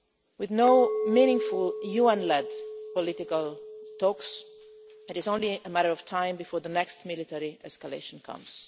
With no meaningful UN led political talks, it is only a matter of time before the next military escalation comes.